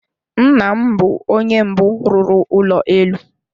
Nna m bụ onye mbụ rụrụ ụlọ elu.